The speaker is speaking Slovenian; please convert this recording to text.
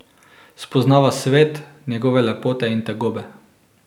Spoznava svet, njegove lepote in tegobe.